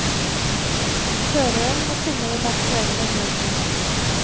Føreren må finne den aktuelle nødbremsen.